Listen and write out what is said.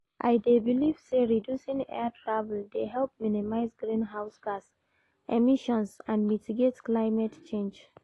I dey believe say reducing air travel dey help minimize greenhouse gas emissions and mitigate climate change.